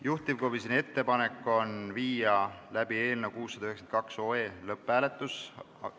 Juhtivkomisjoni ettepanek on panna eelnõu 692 lõpphääletusele.